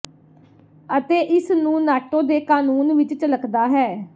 ਅਤੇ ਇਸ ਨੂੰ ਨਾਟੋ ਦੇ ਕਾਨੂੰਨ ਵਿੱਚ ਝਲਕਦਾ ਹੈ